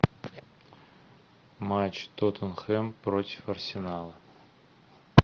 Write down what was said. матч тоттенхэм против арсенала